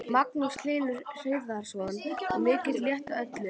Magnús Hlynur Hreiðarsson: Og mikill léttir á öllum?